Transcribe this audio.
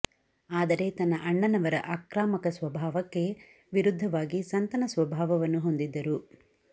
ಆದರೆ ತನ್ನ ಅಣ್ಣನವರ ಆಕ್ರಾಮಕ ಸ್ವಭಾವಕ್ಕೆ ವಿರುದ್ದವಾಗಿ ಸಂತನ ಸ್ವಭಾವನ್ನು ಹೊಂದಿದ್ದರು